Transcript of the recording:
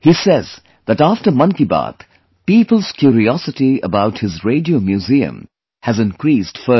He says that after 'Mann Ki Baat', people's curiosity about his Radio Museum has increased further